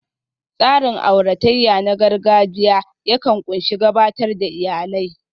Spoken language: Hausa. Tsarin auratayya na gargajiya yakan ƙunshi gabatar da iyalai